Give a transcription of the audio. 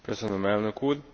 Köszönöm, Elnök Úr.